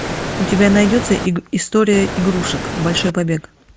у тебя найдется история игрушек большой побег